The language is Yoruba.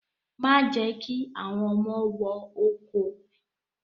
Má jẹ́ kí àwọn ọmọ wọ oko